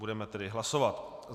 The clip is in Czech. Budeme tedy hlasovat.